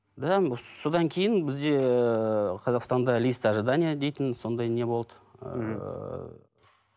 да м содан кейін бізде қазақстанда лист ожидание дейтін сондай не болды ыыы